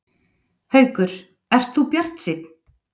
Haukur: Ert þú bjartsýnn?